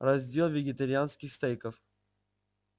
раздел вегетарианских стейков